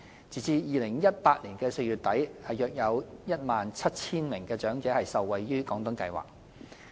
截至2018年4月底，約有 17,000 名長者受惠於"廣東計劃"。